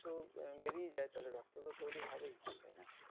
তো উম আহ বেরিয়ে যায় তাহলে রক্ত তো তৈরি হবেই তাইনা?